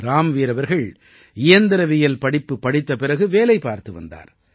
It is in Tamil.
ராம்வீர் அவர்கள் இயந்திரவியல் படிப்பு படித்த பிறகு வேலை பார்த்து வந்தார்